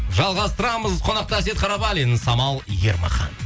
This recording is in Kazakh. жалғастырамыз қонақта әсет қарабалин самал ермахан